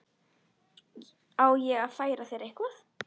Á ég að færa þér eitthvað?